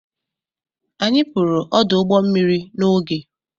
Anyị pụrụ ọdụ ụgbọ mmiri n'oge.